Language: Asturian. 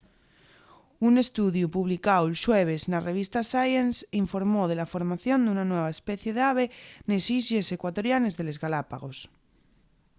un estudiu publicáu'l xueves na revista science informó de la formación d'una nueva especie d'ave nes islles ecuatorianes de les galápagos